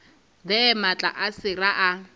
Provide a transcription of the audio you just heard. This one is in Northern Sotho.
there maatla a sera a